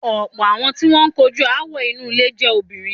Ọ̀pọ̀ àwọn tí wọ́n ń kojú aáwọ̀ inú ilé jẹ́ obìrin.